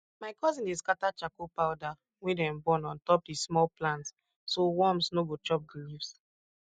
my cousin dey scatter charcoal powder wey dem burn on top di small plants so worms no go chop di leaves